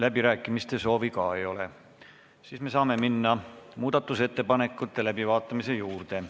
Läbirääkimiste soovi ka ei ole, siis me saame minna muudatusettepanekute läbivaatamise juurde.